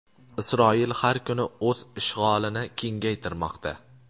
Isroil har kuni o‘z ishg‘olini kengaytirmoqda.